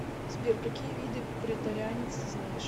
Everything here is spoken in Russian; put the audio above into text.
сбер какие виды преторианец ты знаешь